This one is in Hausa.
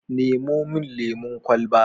Nemo min lemon kwalaba.